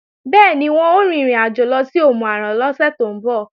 Bẹ́ẹ̀ni, wọn ó rin ìrìnàjò lọ sí Òmù-àrán lọ́sẹ̀ tó ń bọ̀